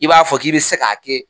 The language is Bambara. I b'a fɔ k'i bɛ se k'a kɛ.